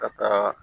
Ka taa